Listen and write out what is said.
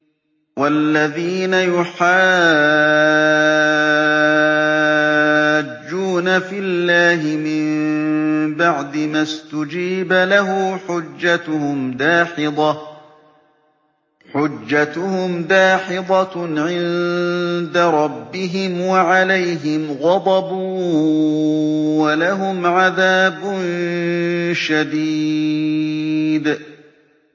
وَالَّذِينَ يُحَاجُّونَ فِي اللَّهِ مِن بَعْدِ مَا اسْتُجِيبَ لَهُ حُجَّتُهُمْ دَاحِضَةٌ عِندَ رَبِّهِمْ وَعَلَيْهِمْ غَضَبٌ وَلَهُمْ عَذَابٌ شَدِيدٌ